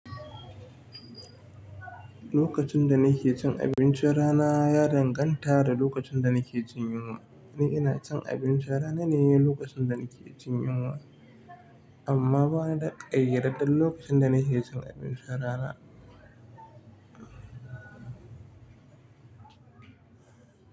Lokacin da nake cin abincin rana ya danganta da lokacin da nake jin yunwa. Ni ina cin abinci rana ne lokacin da nake jin yunwa, amma bana ƙayadaddeɗan lokacin da nake cin abincin rana.